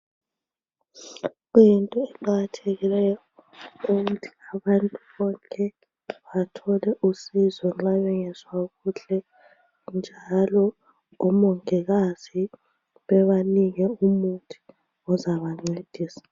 Kuyinto eqakathekileyo ukuthi abantu bonke bathole usizo nxa bemgezwa kuhle njalo omongikazi bebanike umuthi ozabancedisa